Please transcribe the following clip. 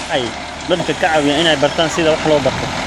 Waxay dadka ka caawiyaan inay bartaan sida wax loo barto.